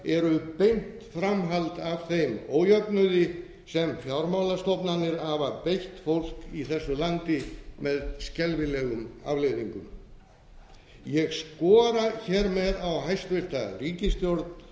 eru beint framhald af þeim ójöfnuði sem fjármálastofnanir hafa beitt fólk í þessu landi með skelfilegum afleiðingum ég skora á hæstvirta ríkisstjórn